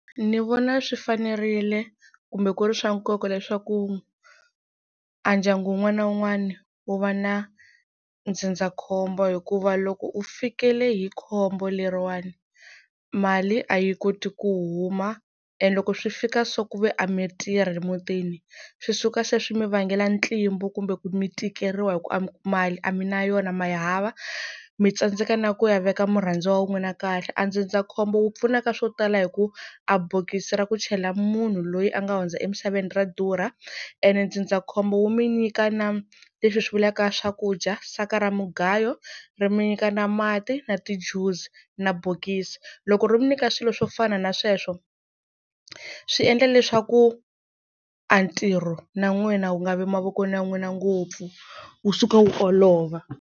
Ni vona swi fanerile kumbe ku ri swa nkoka leswaku a ndyangu wun'wana na wun'wana wu va na ndzindzakhombo hikuva loko u fikele hi khombo leriwani mali a yi koti ku huma and loko swi fika so ku ve a mi tirhi emutini swi suka se swi mi vangela ntlimbo kumbe ku mi tikeriwa hi ku a mali a mi na yona ma ya hava mi tsandzeka na ku ya veka murhandziwa wa n'wina kahle a ndzindzakhombo wu pfuna ka swo tala hi ku a bokisi ra ku chela munhu loyi a nga hundza emisaveni ra durha ene ndzindzakhombo wu mi nyika na leswi swi vulaka swakudya saka ra mugayo ri mi nyika na mati na ti-Juice na bokisi loko ro mi nyika swilo swo fana na sweswo swi endla leswaku a ntirho na n'wina wu nga vi mavokweni ya n'wina ngopfu wu suka wu olova.